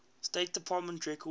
state department records